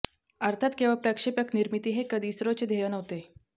अर्थात केवळ प्रक्षेपक निर्मिती हे कधी इस्रोचे ध्येय नव्हते